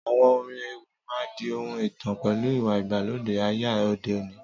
Àwọn orin ewì máa di ohun ìtàn pẹ̀lú ìwà ìgbàlódé ayé òde òní